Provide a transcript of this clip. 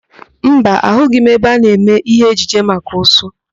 Mba, agaghị m ebe a na-eme ihe ejije maka ụsụ.